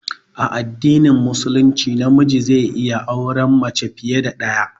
A addinin musulunci na miji zai iya aure mace fiye da ɗaya